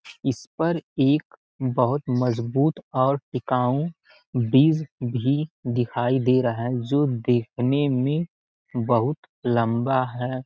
इसपर एक बहुत मजबूत और टिकाऊ ब्रिज भी दिखाई दे रहा है जो देखने में बहुत लम्बा हैं।